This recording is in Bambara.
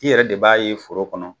I yɛrɛ de b'a ye foro kɔnɔ